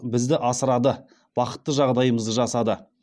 бізді асырады бақытты жағдайымызды жасады